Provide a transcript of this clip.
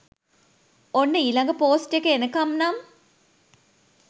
ඔන්න ඊලඟ පෝස්ට් එක එනකම් නම්